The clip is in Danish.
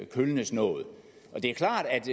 kølnes noget det er klart at